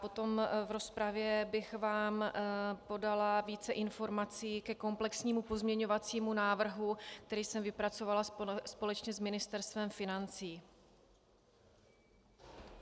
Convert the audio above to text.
Potom v rozpravě bych vám podala více informací ke komplexnímu pozměňovacímu návrhu, který jsem vypracovala společně s Ministerstvem financí.